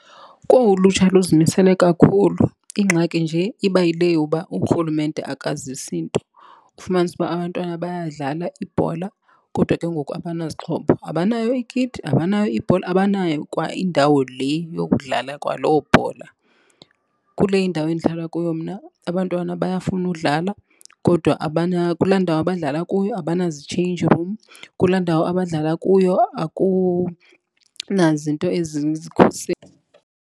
Kowu ulutsha luzimisele kakhulu, ingxaki nje iba yile yoba uRhulumente akazisi nto. Kufumanise uba abantwana bayadlala ibhola kodwa ke ngoku abanazixhobo. Abanayo ikiti, abanayo ibhola, abanayo kwa indawo le yokudlala kwaloo bhola. Kule indawo endihlala kuyo mna abantwana bayafuna udlala kodwa kulaa ndawo abadlala kuyo abanazi-change room. Kulaa ndawo abadlala kuyo akunazinto .